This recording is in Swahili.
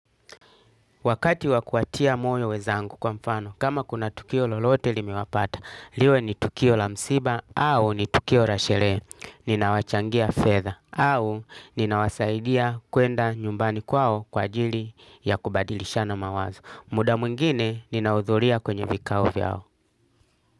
Wakati wa kuwatia moyo wezangu kwa mfano, kama kuna tukio lolote limewapata, liwe ni tukio la msiba au ni tukio ra shere, ninawachangia fedha au ninawasaidia kuenda nyumbani kwao kwa ajili ya kubadilishana mawazo. Muda mwingine ninaudhuria kwenye vikao vyao.